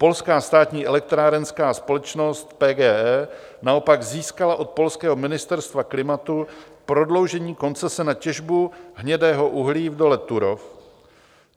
Polská státní elektrárenská společnost PGE naopak získala od polského Ministerstva klimatu prodloužení koncese na těžbu hnědého uhlí v dole Turów.